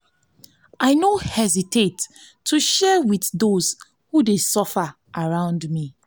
i no hesitate to share with those wey dey suffer around me.